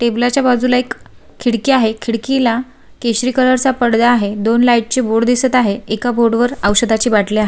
Table च्या बाजूला एक खिडकी आहे खिडकीला केशरी कलर चा पडदा आहे दोन लाइट चे बोर्ड दिसत आहे एका बोर्ड वर औषधाची बाटली आहे.